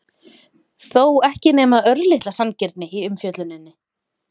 þó ekki nema örlitla sanngirni í umfjölluninni?